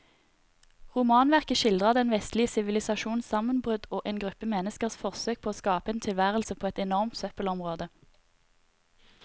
Romanverket skildrer den vestlige sivilisasjons sammenbrudd og en gruppe menneskers forsøk på å skape en tilværelse på et enormt søppelområde.